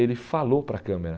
Ele falou para a câmera.